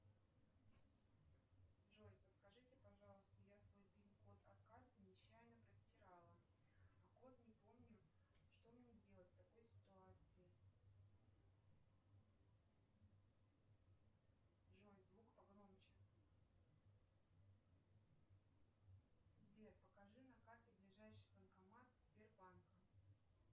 джой подскажите пожалуйста я свой пин код от карты нечаянно простирала а код не помню что мне делать в такой ситуации джой звук погромче сбер покажи на карте ближайший банкомат сбербанка